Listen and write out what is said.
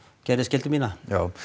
gerði skyldu mína